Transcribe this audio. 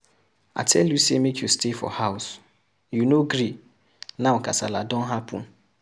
I tell you make you stay for house, you no gree, now kasala don happen.